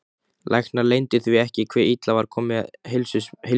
Læknar leyndu því ekki hve illa var komið heilsu minni.